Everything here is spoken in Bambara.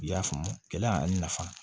I y'a faamu kɛlɛ ani nafa